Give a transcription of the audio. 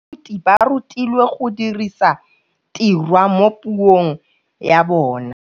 Baithuti ba rutilwe go dirisa tirwa mo puong ya bone.